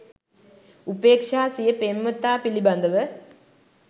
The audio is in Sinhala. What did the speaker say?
උපේක්ෂා සිය පෙම්වතා පිළිබඳව